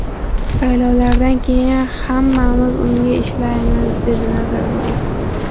Saylovlardan keyin, hammamiz unga ishlaymiz”, – dedi Nazarboyev.